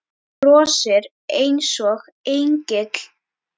Þú brosir einsog engill.